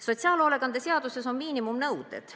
Sotsiaalhoolekande seaduses on miinimumnõuded.